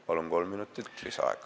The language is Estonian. Palun kolm minutit lisaaega!